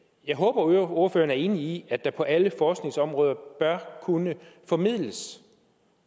jeg håber ordføreren er enig i at der på alle forskningsområder bør kunne formidles